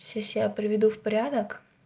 сейчас приведу в порядок